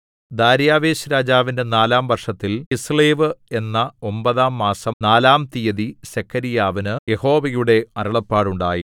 ദാര്യാവേശ്‌രാജാവിന്റെ നാലാം വർഷത്തിൽ കിസ്ളേവ് എന്ന ഒമ്പതാം മാസം നാലാം തീയതി സെഖര്യാവിന് യഹോവയുടെ അരുളപ്പാടുണ്ടായി